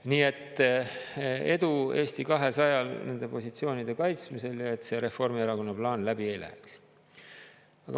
Nii et edu Eesti 200-le nende positsioonide kaitsmisel ja et see Reformierakonna plaan läbi ei läheks.